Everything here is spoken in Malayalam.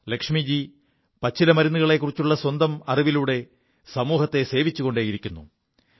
ലക്ഷ്മിജി പച്ചിലമരുുകളെക്കുറിച്ചുള്ള സ്വന്തം അറിവിലൂടെ സമൂഹത്തെ സേവിച്ചുകൊണ്ടേയിരിക്കുു